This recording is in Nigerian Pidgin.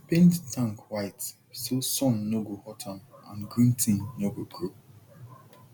paint tank white so sun no go hot am and green thing no go grow